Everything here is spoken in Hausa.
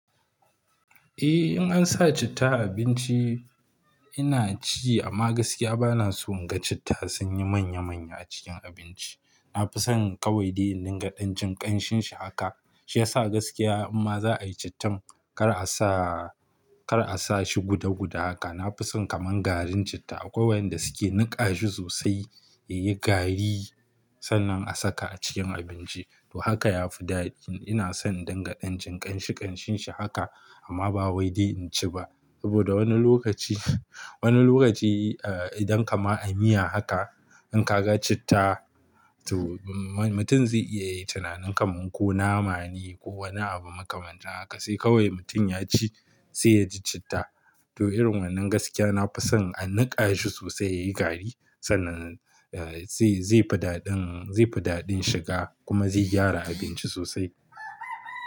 Eh, in an sa citta a abinci ina ci amma gaskiya bana son inga citta sunyi manya-manya a cikin abinci. Na fi son kawai dai in dinga ɗan-jin ƙan-shinshi haka shi yasa gaskiya in ma za a yi cittan kar a sa, kar a sa shi guda-guda haka. Na fi son kaman garin citta akwai wa'yanda suke niƙa shi sosai yayi gari sannan a saka a cikin abinci to haka ya fi daɗi. Ina son in dinga ɗan-jin ƙan-shi ƙan-shinshi haka amma ba wai dai in ci ba saboda wani lokaci, wani lokaci eh idan kaman a miya haka in ka ga citta to mutum zai iya yin tunanin kaman ko nama ne ko wani abu makamanta haka sai kawai mutum ya ci sai ya ji citta. To irin wannan gaskiya na fi son a niƙa shi sosai yayi gari sannan eh zai, zai fi daɗin, zai fi daɗin shiga kuma zai gyara abinci sosai.